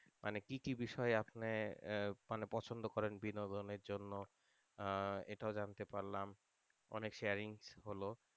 মানে কী কী বিষয়ে আপনি আহ মানে পছন্দ করেন বিনোদনের জন্য আহ এটাও জানতে পারলাম অনেক sharing হল,